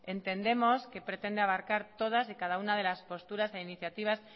entendemos que pretende abarcar todas y cada una de las posturas de iniciativas